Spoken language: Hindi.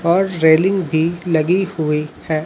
और रेलिंग भी लगी हुई है।